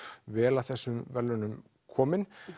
vel að þessum verðlaunum komin